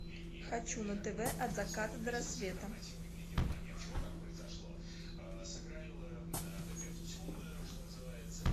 хочу на тв от заката до рассвета